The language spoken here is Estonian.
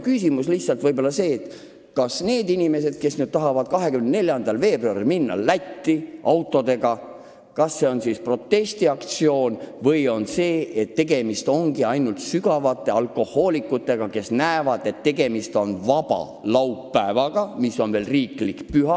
Küsimus on võib-olla ka see, kas need inimesed, kes plaanivad 24. veebruaril autodega Lätti sõita, osalevad protestiaktsioonis või on tegemist ainult paadunud alkohoolikutega, kes kasutavad vaba laupäeva, mis on veel ka riigipüha.